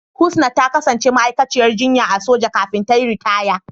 Husna ta kasance ma'aikaciyar jinya a soja kafin ta yi ritaya.